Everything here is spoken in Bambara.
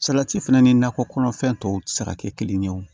Salati fɛnɛ ni nakɔ kɔnɔfɛn tɔw ti se ka kɛ kelen ye o